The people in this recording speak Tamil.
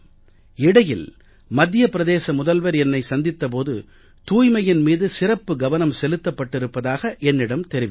இடையில் மத்திய பிரதேச முதல்வர் என்னை சந்தித்த போது தூய்மையின் மீது சிறப்பு கவனம் செலுத்தப்பட்டிருப்பதாக என்னிடம் தெரிவித்தார்